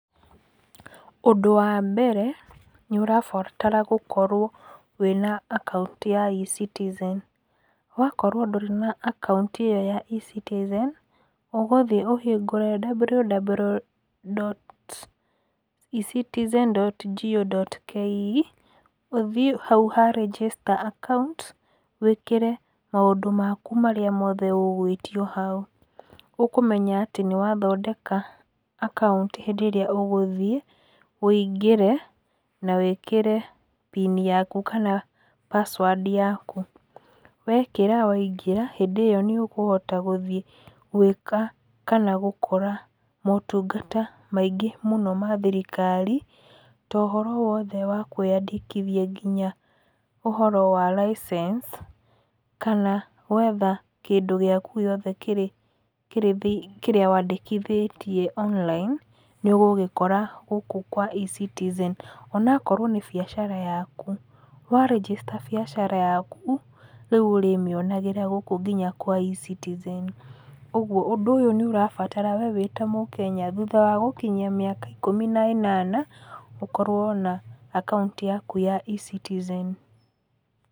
Ũndũ wa mbere nĩ ũrabatara gũkorwo na account ya E-Citizen. Wakorwo ndũrĩ na account ĩyo ya E-Citizen. Ũgũthiĩ ũhingũre www.Ecitizen.go.ke ũcoke ũthiĩ hau ha Register account wĩkĩre maũndũ maku marĩa mothe ũgwĩtio hau. Ũkũmenya atĩ nĩ wathondeka account hĩndĩ ĩrĩa ũgũthiĩ ũingĩre na wĩkĩre PIN yaku kana password yaku. Wekĩra waingĩra hĩndĩ ĩyo nĩ ũkũhota gũthiĩ gwĩka kana gũkora motungata maingĩ mũno ma thirikari. Ta ũhoro wothe wa kwĩandĩkithia nginya ũhoro wa license kana gwetha kĩndũ gĩaku gĩothe kĩrĩa wandĩkithĩtie online nĩ ũgũgĩkora gũkũ kwa E-Citizen. Ona okorwo nĩ biacara yaku, wa register biacara yaku rĩu ũrĩmĩonagĩra gũkũ nginya kwa E-Citizen. Ũguo ũndũ nĩ ũrabatara we wĩta mũkenya thutha wa gũkinyia mĩaka ikũmi na ĩnana ũkorwo na account yaku ya E-Citizen.